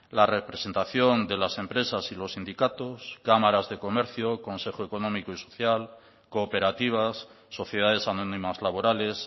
la representación de las empresas y los sindicatos cámaras de comercio consejo económico y social cooperativas sociedades anónimas laborales